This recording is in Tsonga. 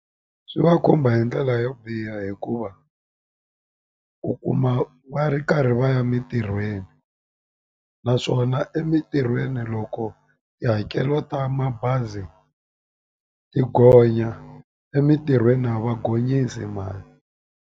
Swi va khumba hi ndlela yo biha hikuva u kuma va ri karhi va ya mintirhweni naswona emintirhweni loko tihakelo ta mabazi ti gonya emintirhweni a va gonyisi mali.